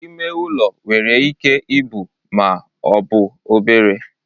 Ime ụlọ nwere ike ibu ma ọ bụ obere